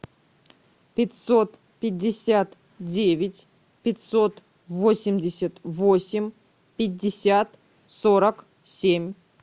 пятьсот пятьдесят девять пятьсот восемьдесят восемь пятьдесят сорок семь